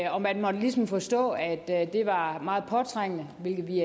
og man måtte ligesom forstå at at det var meget påtrængende hvilket vi